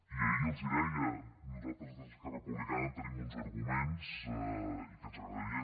i ahir els ho deia nosaltres des d’esquerra republicana tenim uns arguments i que ens agradaria